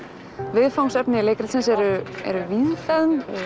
viðfangsefni leikritsins eru eru víðfeðm